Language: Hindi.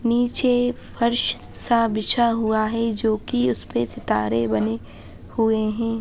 नीचे फर्श सा बिछा हुआ है जो कि उसपे सितारे बने हुए है।